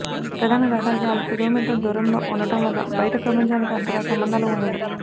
ప్రధాన రహదారికి ఆరు కిలో మీటర్ల దూరంలో ఉండడం వల్ల బయట ప్రపంచానికి అంతగా సంబంధాలు ఉండవు